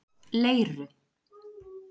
Leiru